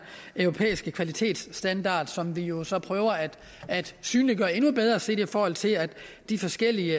europæiske kvalitetsstandard som vi jo så prøver at synliggøre endnu bedre set i forhold til at de forskellige